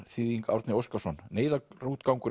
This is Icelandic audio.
þýðing Árni Óskarsson neyðarútgangur